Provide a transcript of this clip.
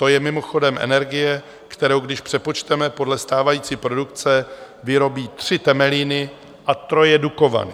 To je mimochodem energie, kterou, když přepočteme podle stávající produkce, vyrobí tři Temelíny a troje Dukovany.